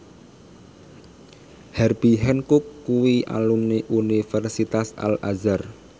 Herbie Hancock kuwi alumni Universitas Al Azhar